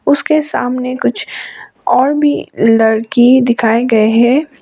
उसके सामने कुछ और भी लड़की दिखाए गए हैं।